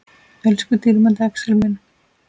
Elsku dýrmæti Axel minn.